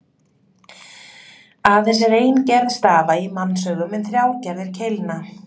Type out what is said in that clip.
Aðeins er ein gerð stafa í mannsaugum en þrjár gerðir keilna.